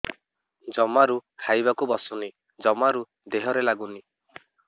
ଜମାରୁ ଖାଇବାକୁ ବସୁନି ଜମାରୁ ଦେହରେ ଲାଗୁନି